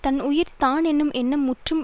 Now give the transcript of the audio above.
தன் உயிர் தான் என்னும் எண்ணம் முற்றும்